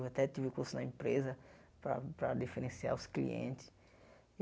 Eu até tive o curso na empresa para para diferenciar os clientes.